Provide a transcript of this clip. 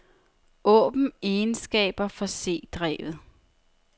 Åbn egenskaber for c-drevet.